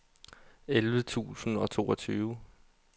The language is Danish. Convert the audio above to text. elleve tusind og toogtyve